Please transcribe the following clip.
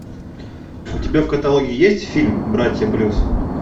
у тебя в каталоге есть фильм братья блюз